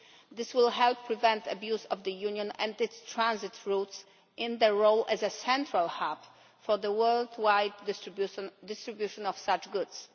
This will help prevent abuse of the Union and its transit routes in its role as a central hub for the worldwide distribution of such goods.